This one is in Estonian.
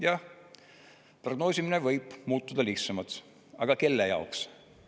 Jah, prognoosimine võib muutuda lihtsamaks, aga kelle jaoks?